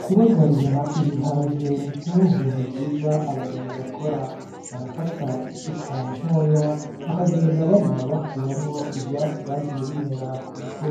Kubagarira ibiharage ni kimwe mu bintu vyiza abarimyi bakora barafata isuka ntoya bakagenda barima bakuramwo ivyatsi vyagiye bimera kuko